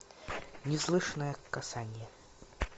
неслышное касание